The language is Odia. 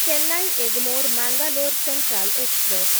Chennai Egmore Mangalore central express